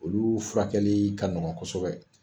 Olu furakɛli ka nɔgɔn kosɛbɛ.